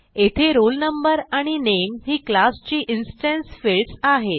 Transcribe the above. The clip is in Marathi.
येथे roll no आणि नामे ही क्लास ची इन्स्टन्स फील्ड्स आहेत